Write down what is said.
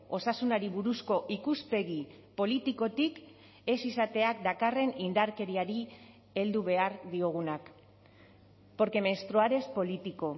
osasunari buruzko ikuspegi politikotik ez izateak dakarren indarkeriari heldu behar diogunak porque menstruar es político